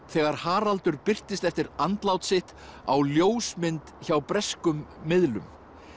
þegar Haraldur birtist eftir andlát sitt á ljósmynd hjá breskum miðlum